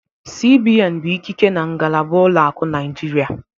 CBN bụ ikike na ngalaba ụlọ akụ Naịjirịa